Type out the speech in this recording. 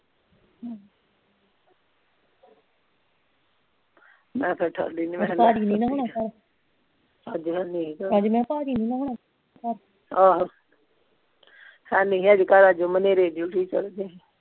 ਮੈਂ ਫੇਰ ਉਠਾਲੀ ਨਹੀਂ ਮੈਂ ਕਿਹਾ ਨਹੀਂ ਨਾ ਹੋਣਾਂ ਘਰ ਅੱਜ ਮੈਂ ਕਿਹਾ ਭਾਜੀ ਨਹੀਂ ਹੋਣਾਂ ਘਰ ਆਹੋ ਹੈ ਨਹੀਂ ਸੀ ਅੱਜ ਘਰ ਹਨੇਰੇ ਹੀ ਚੱਲ ਗਿਆ ਸੀ